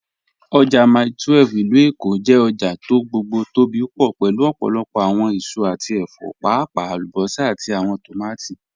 Ojá Mílè 12 (ilù Èkó) jẹ́ ọ̀jà tó gbogbo tó bí pọ̀ pẹ̀lú ọ̀pọ̀lọ̀pọ̀ awọn èsò àti ẹ̀fọ̀, páàpàá alúbọ́sà àti awọn tómátí